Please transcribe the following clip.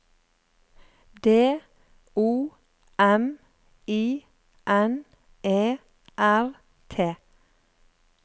D O M I N E R T